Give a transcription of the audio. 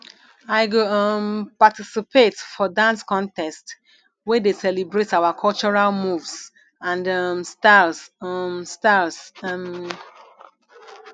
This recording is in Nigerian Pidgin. i go um participate for dance contest wey dey celebrate our cultural moves and um styles um styles um